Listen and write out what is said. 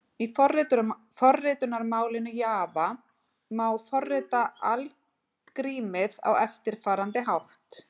Í forritunarmálinu Java má forrita algrímið á eftirfarandi hátt: